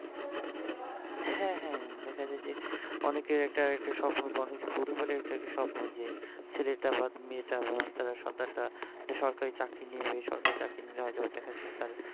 হ্যা হ্যা হ্যা দেখা যায় যে অনেকের একটা একটা স্বপ্ন অনেক একটা পরিবারের একটা স্বপ্ন যে ছেলেটা বা মেয়েটা বা আপনার সন্তান টা একটা সরকারি চাকরি নিবে সরকারি চাকরি নিলে হয়তোবা দেখা যায় যে তার